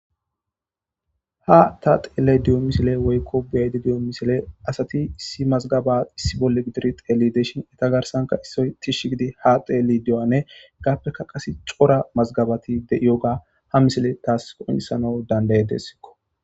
Ha ta tellayide diyo missile woyikko be'ayde diyo missile asati issi mazzgaba issi bolla gididi tellishin iza garssanka issoy tishshi giddi ha tellidi diyogganne heggappeka qase Cora mazzgabbati de'iyoga ha missiley tasi qonccisana danda'idesko.